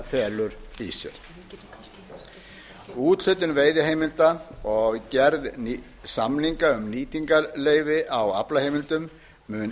felur í sér úthlutun veiðiheimilda og gerð samninga um nýtingarleyfi á aflaheimildum mun